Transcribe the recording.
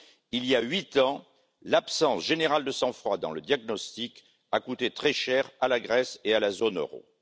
Il y a huit ans, l'absence générale de sang froid dans le diagnostic a coûté très cher à la Grèce et à la zone euro.